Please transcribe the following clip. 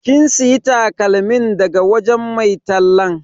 Kin siya takalmin daga wajen mai tallan?